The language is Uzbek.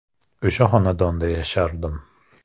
O‘sha xonadonda yashardim.